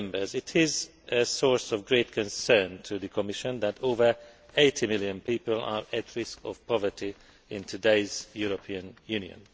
It is a source of great concern to the Commission that over 80 million people are at risk of poverty in today's European Union.